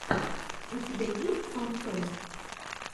у тебя есть фантом